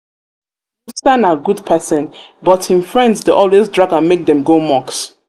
musa na good musa na good person but him friends dey always drag am make dem go mosque